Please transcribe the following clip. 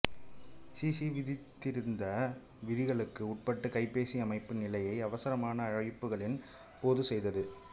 C சி விதித்திருந்த விதிகளுக்கு உட்பட்டு கைபேசி அமைப்பு நிலையை அவசரமான அழைப்புகளின் போது செய்தது